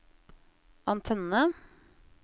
antenne